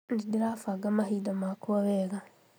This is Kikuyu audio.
Nĩndĩrabanga mahinda makwa wega